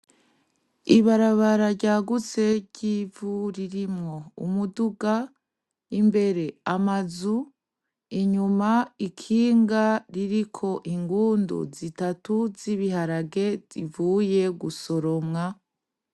Ibarabara ryagutse ry'ivu ririmwo umuduga, imbere amazu, inyuma ikinga ririko ingundu zizatu z'ibiharage zivuye gusoromwa.